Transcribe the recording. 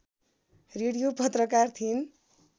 radio पत्रकार थिइन्